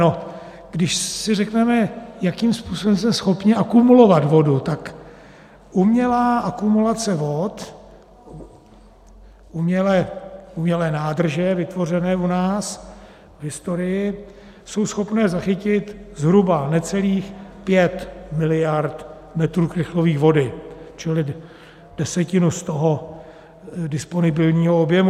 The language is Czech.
No, když si řekneme, jakým způsobem jsme schopni akumulovat vodu, tak umělá akumulace vod, umělé nádrže vytvořené u nás v historii, jsou schopny zachytit zhruba necelých 5 miliard metrů krychlových vody, čili desetinu z toho disponibilního objemu.